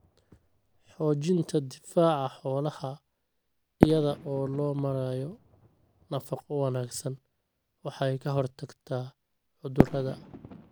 Xoojinta difaaca xoolaha iyada oo loo marayo nafaqo wanaagsan waxay ka hortagtaa cudurrada.